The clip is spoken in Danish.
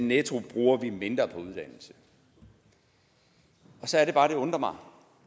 netto bruger mindre på uddannelse så er det bare det undrer mig